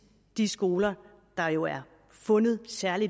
de skoler der jo er fundet særlig